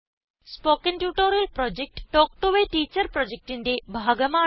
spoken tutorial project talk to a teacher പ്രൊജക്റ്റിന്റെ ഭാഗമാണ്